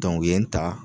u ye n ta